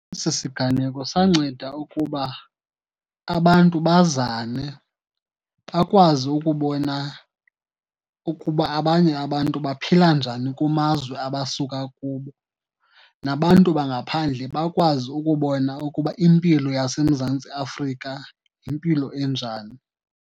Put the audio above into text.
Esi siganeko sanceda ukuba abantu bazane bakwazi ukubona ukuba abanye abantu baphila njani kumazwe abasuka kubo. Nabantu bangaphandle bakwazi ukubona ukuba impilo yaseMzantsi Afrika yimpilo enjani.